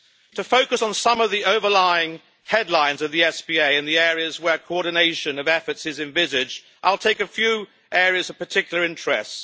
To focus on some of the main headlines of the SPA in the areas where coordination of efforts is envisaged, I will take a few areas of particular interest.